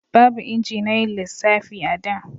Babu inji na yin lissafi a da